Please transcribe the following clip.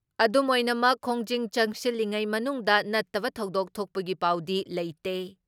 ꯑꯗꯨꯝꯑꯣꯏꯅꯃꯛ, ꯈꯣꯡꯖꯪ ꯆꯪꯁꯤꯜꯂꯤꯉꯩ ꯃꯅꯨꯡꯗ ꯅꯠꯇꯕ ꯊꯧꯗꯣꯛ ꯊꯣꯛꯄꯒꯤ ꯄꯥꯎꯗꯤ ꯂꯩꯇꯦ ꯫